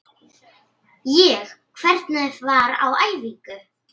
Ég: Hvernig var á æfingu?